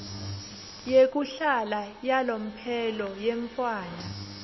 yekuhlala yalomphelo yemntfwana